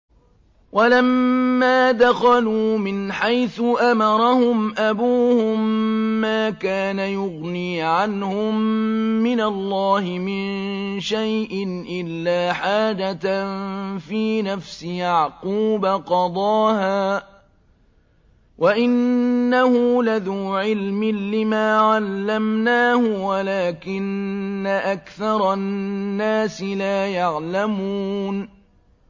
وَلَمَّا دَخَلُوا مِنْ حَيْثُ أَمَرَهُمْ أَبُوهُم مَّا كَانَ يُغْنِي عَنْهُم مِّنَ اللَّهِ مِن شَيْءٍ إِلَّا حَاجَةً فِي نَفْسِ يَعْقُوبَ قَضَاهَا ۚ وَإِنَّهُ لَذُو عِلْمٍ لِّمَا عَلَّمْنَاهُ وَلَٰكِنَّ أَكْثَرَ النَّاسِ لَا يَعْلَمُونَ